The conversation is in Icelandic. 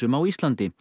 á Íslandi